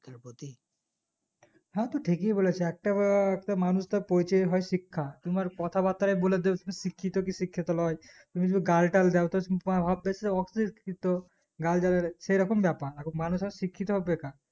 হ্যাঁ তু ঠিকই বলেছি একটা একটা মানুষের প্রয়োজন হয় শিক্ষা তুমার কথা বাত্রা বুলে দেবে তুমি শিক্ষিত না শিক্ষিত লই তুমি যদি গালিটাল দাও তাহলে ভাববে অশিক্ষিত গালদেও সেরকম ব্যাপার মানুয়ের এখন শিক্ষিত হওয়া বেকার